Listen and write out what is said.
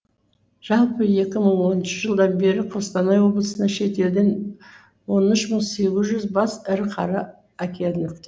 жалпы екі мың оныншы жылдан бері қостанай облысына шетелден он үш мың сегіз жүз бас ірі қара әкелініпті